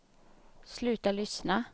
sluta lyssna